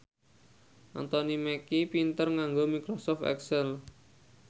Anthony Mackie pinter nganggo microsoft excel